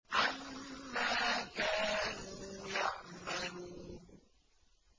عَمَّا كَانُوا يَعْمَلُونَ